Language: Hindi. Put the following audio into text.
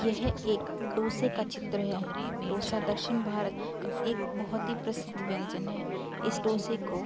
यह एक डोसे का चित्र है। डोसा दक्षिण भारत का एक बहोत ही प्रसिद्ध व्यंजन है। इस डोसे को --